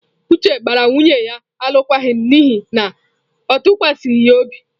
Uche gbara nwunye ya alụkwaghịm n'ihi na ọ tụkwasịghi ya obi.